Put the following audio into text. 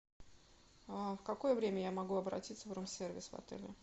в какое время я могу обратиться в рум сервис в отеле